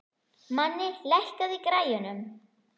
Manni, lækkaðu í græjunum.